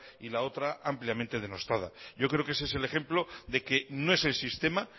y la otra ampliamente denostada yo creo que ese es el ejemplo de que no es el sistema